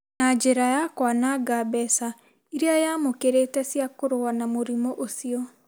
na njĩra ya kwananga mbeca iria yamũkĩrĩte cia kũrũa na mũrimũ ũcio.